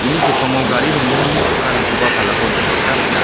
uni sepango gari ronggnini chakkarangkoba palako nikna gita man·a.